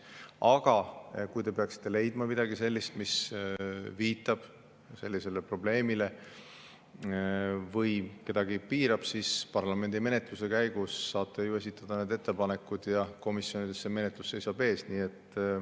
Aga kui te peaksite leidma midagi sellist, mis viitab probleemile või kedagi piirab, siis parlamendimenetluse käigus saate ju esitada need ettepanekud ja komisjonides see menetlus seisab ees.